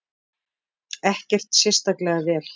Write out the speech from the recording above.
Ekkert sérstaklega vel.